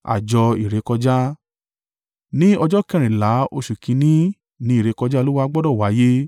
“ ‘Ní ọjọ́ kẹrìnlá oṣù kìn-ín-ní ni ìrékọjá Olúwa gbọdọ̀ wáyé.